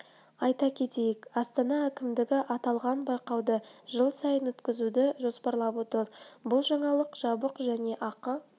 айта кетейік астана әкімдігі аталған байқауды жыл сайын өткізуді жоспарлап отыр бұл жаңалық жабық және ақы